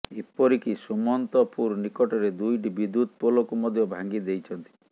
ଏପରିକି ସୁମନ୍ତପୁର ନିକଟରେ ଦୁଇଟି ବିଦ୍ୟୁତ ପୋଲକୁ ମଧ୍ୟ ଭାଙ୍ଗିଦେଇଛନ୍ତି